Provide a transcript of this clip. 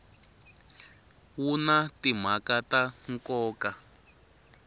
wu na timhaka ta nkoka